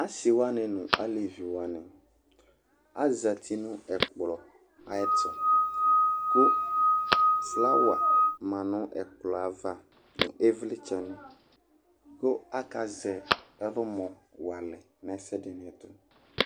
Asɩ wanɩ nʋ alevi wanɩ azati nʋ ɛkplɔ ayɛtʋ kʋ flawa ma nʋ ɛkplɔ yɛ ava nʋ ɩvlɩtsɛnɩ kʋ akazɛ ɛlʋmɔ wa alɛ nʋ ɛsɛ dɩ ɛtʋ